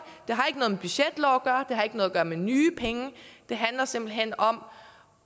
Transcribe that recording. det har ikke noget har med nye penge det handler simpelt hen om